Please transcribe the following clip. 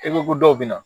E ko ko dɔw bɛ na